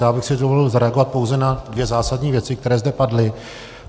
Já bych si dovolil zareagovat pouze na dvě zásadní věci, které zde padly.